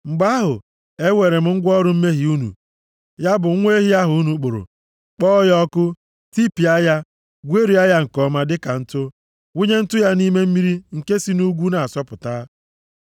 Mgbe ahụ, eweere m ngwa ọrụ mmehie unu, ya bụ nwa ehi ahụ unu kpụrụ, kpọọ ya ọkụ, tipịa ya, gwerie ya nke ọma dịka ntụ, wụnye ntụ ya nʼime mmiri nke si nʼugwu na-asọpụta.